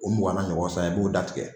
O mugana ɲɔgɔn san i b'o da tigɛ